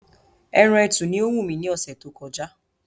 Ẹran ẹtù ni ó wù mí ní ọ̀sẹ̀ tó kọjá